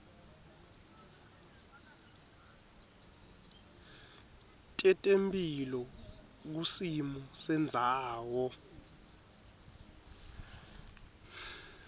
tetemphilo kusimo sendzawo